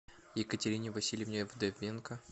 екатерине васильевне вдовенко